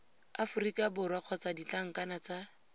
aforika borwa kgotsa ditlankana tsa